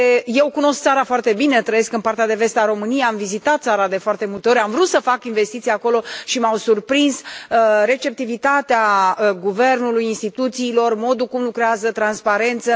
Eu cunosc țara foarte bine, trăiesc în partea de vest a României, am vizitat țara de foarte multe ori, am vrut să fac investiții acolo și m au surprins receptivitatea guvernului, instituțiilor, modul cum lucrează, transparența.